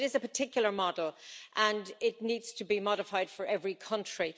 But it is a particular model, and it needs to be modified for every country.